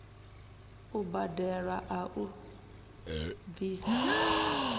u badelwa a u bvisa